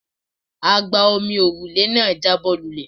Agba-omi òrùlé náà jábọ́ lulẹ̀.